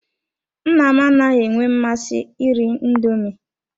Nna m anaghị enwe mmasị iri indoomi.